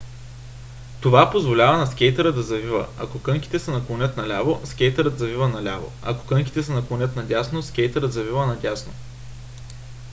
това позволява на скейтъра да завива. ако кънките се наклонят наляво скейтърът завива наляво ако кънките се наклонят надясно скейтърът завива надясно